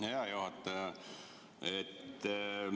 Hea juhataja!